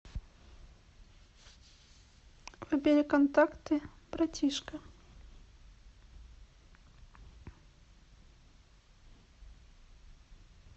выбери контакты братишка